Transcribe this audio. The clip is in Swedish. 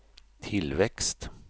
tillväxt